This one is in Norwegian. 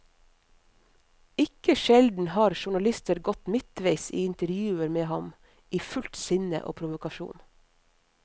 Ikke sjelden har journalister gått midtveis i intervjuer med ham, i fullt sinne og provokasjon.